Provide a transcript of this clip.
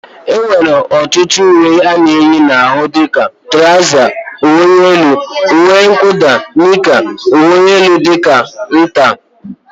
E nwere ọtụtụ ùwé ana eyi n'ahụ dịka: trauza, ùwé élú, ùwé mwuda, nika, ùwé élú aka ntà wdg.